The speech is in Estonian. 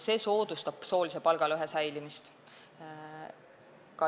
See soodustab soolise palgalõhe säilimist.